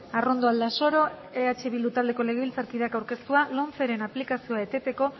arrondo aldasoro eh bildu taldeko legebiltzarkideak aurkeztua lomceren aplikazioa eteteko